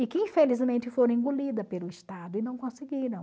E que infelizmente foram engolida pelo Estado e não conseguiram.